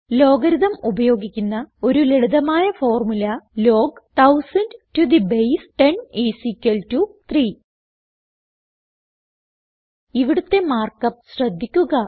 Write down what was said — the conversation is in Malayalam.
ലോഗരിതം ഉപയോഗിക്കുന്ന ഒരു ലളിതമായ ഫോർമുല160 log 1000 to the base 10 is equal to 3 ഇവിടുത്തെ മാർക്ക് അപ്പ് ശ്രദ്ധിക്കുക